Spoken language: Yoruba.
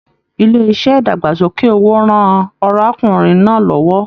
Ilé iṣẹ idagbasoke owó rán arákùnrin náà l'ọwọ.